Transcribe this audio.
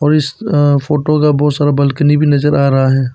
और इस अ फोटो का बहुत सारा बलकनी भी नजर आ रहा है।